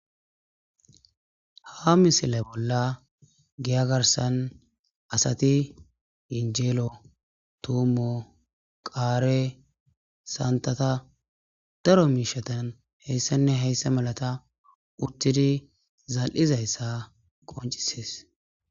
Ha missile bola giya garasan asati yenjelo, tumo ,qare ,santata daro mishata heysanne heysa malata utidi zal'izaysa qonc'ses.